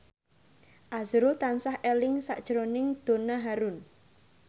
azrul tansah eling sakjroning Donna Harun